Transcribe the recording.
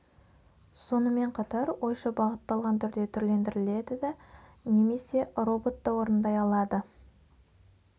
сонымен қатар ойша бағытталған түрде түрлендіріледі да немесе робот та орындай алады